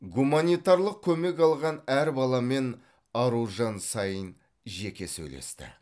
гуманитарлық көмек алған әр баламен аружан саин жеке сөйлесті